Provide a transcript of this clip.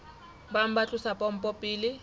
bang ba tlosa pompo pele